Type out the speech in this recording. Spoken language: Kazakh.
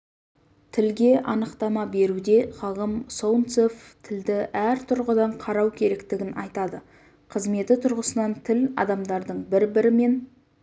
тілге анықтама беруде ғалым солнцев тілді әр тұрғыдан қарау керектігін айтады қызметі тұрғысынан тіл адамдардың бір-бірімен